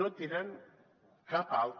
no tenen cap altre